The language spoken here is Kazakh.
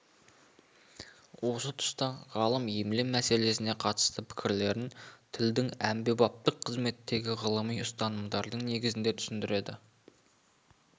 осы тұста ғалым емле мәселесіне қатысты пікірлерін тілдің әмбебаптық қызметіндегі ғылыми ұстанымдардың негізінде түсіндіреді